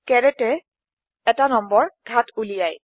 এ এটা নম্বৰ ঘাত উলিয়ায়